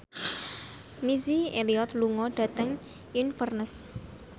Missy Elliott lunga dhateng Inverness